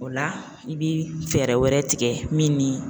O la i bi fɛɛrɛ wɛrɛ tigɛ min ni